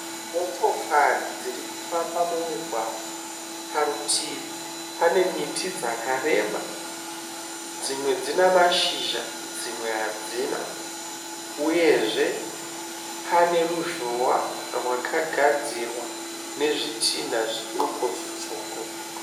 Motokari dziri kufamba mumugwagwa. Parutivi pane miti dzakareba, dzimwe dzina mashizha, dzimwe hadzina uyezve pane ruzhowa rwakagadzirwa nezvitina zvidoko zvitsvuku.